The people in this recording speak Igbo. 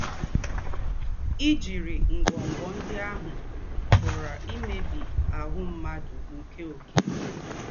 Íjírị́ ngwọ́ngwọ́ ndí́ àhụ́ pụ̀rà ímèbí áhụ́ mmádụ̀ nkē ọ̌kè.